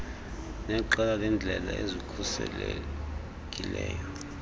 neqela leendlela ezikhuselekileyo